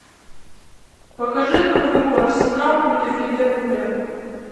покажи нам игру арсенал против ливерпуля